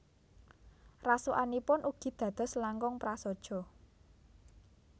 Rasukanipun ugi dados langkung prasaja